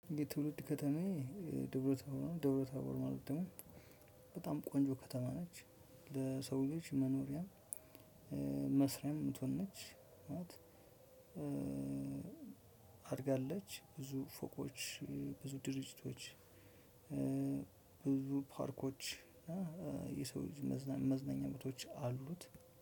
የትውልድ ከተማዬ ደብረ ታቦር ደብረ ታቦር ማለት ደግሞ በጣም ቆንጆ ከተማ ነች ለሰው ልጅ መኖሪያም መስሪያም የምትሆን ነች። አድጋለች ብዙ ፎቆች ብዙ ድርጅቶች ብዙ ፓርኮች የሰው ልጅ መዝነኛ ቦታዎች አሉት።